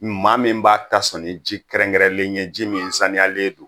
Maa min b'a ta sɔn ni ji kɛrɛnkɛrɛnlen ye, ji min saniyalen don.